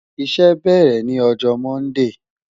Iṣẹ bẹrẹ ni ọjọ Mọndee